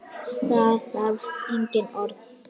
Það þarf engin orð.